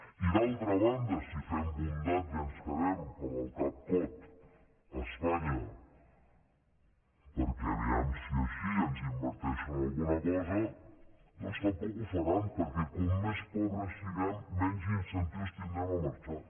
i d’altra banda si fem bondat i ens quedem amb el cap cot a espanya perquè a veure si així ens inverteixen alguna cosa doncs tampoc ho faran perquè com més pobres siguem menys incentius tindrem a marxar